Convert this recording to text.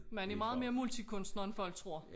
Man er meget mere multikunstner end folk tror